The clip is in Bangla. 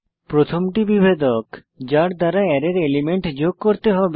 প্রথমটি বিভেদক যার দ্বারা অ্যারের এলিমেন্ট যোগ করতে হবে